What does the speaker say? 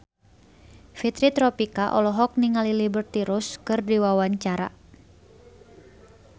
Fitri Tropika olohok ningali Liberty Ross keur diwawancara